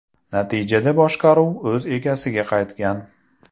Natijada boshqaruv o‘z egasiga qaytgan.